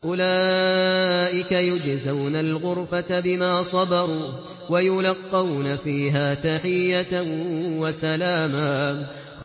أُولَٰئِكَ يُجْزَوْنَ الْغُرْفَةَ بِمَا صَبَرُوا وَيُلَقَّوْنَ فِيهَا تَحِيَّةً وَسَلَامًا